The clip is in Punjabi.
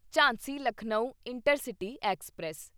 Jhansi Lucknow intercity express